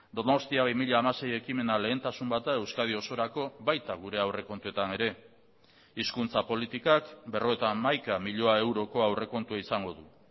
donostia bi mila hamasei ekimena lehentasun bat da euskadi osorako baita gure aurrekontuetan ere hizkuntza politikak berrogeita hamaika milioi euroko aurrekontua izango du